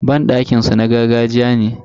Banɗakin su na gargajiya ne.